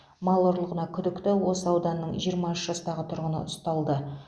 мал ұрлығына күдікті осы ауданның жиырма үш жастағы тұрғыны ұсталды